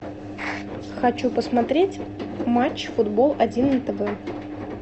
хочу посмотреть матч футбол один на тв